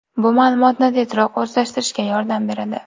Bu ma’lumotni tezroq o‘zlashtirishga yordam beradi.